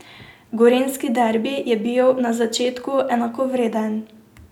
Gorenjski derbi je bil na začetku enakovreden.